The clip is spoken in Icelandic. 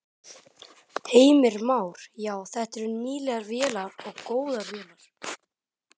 Heimir Már: Já, þetta eru nýlegar vélar og góðar vélar?